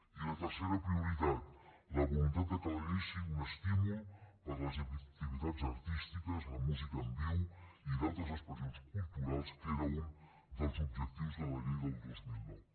i la tercera prioritat la voluntat que la llei sigui un estímul per a les activitats artístiques la música en viu i d’altres expressions culturals que era un dels objectius de la llei del dos mil nou